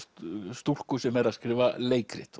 stúlku sem er að skrifa leikrit